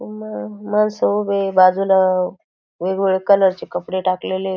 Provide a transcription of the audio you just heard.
अ माणसं उभे हे बाजूला वेगवेगळ्या कलर चे कपडे टाकलेले ए.